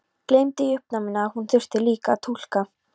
Gleymdi í uppnáminu að hún þurfti líka að túlka.